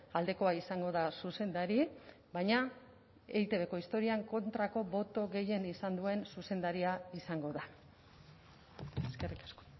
aldekoa izango da zuzendari baina eitbko historian kontrako boto gehien izan duen zuzendaria izango da eskerrik asko